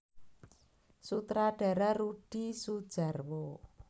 Sutradara Rudi Soedjarwo